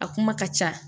A kuma ka ca